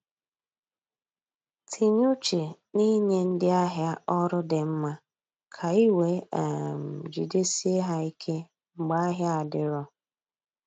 Tinye uche n’inye ndị ahịa ọrụ di mma ka ị wee um jidesie ha ike mgbe ahịa adiro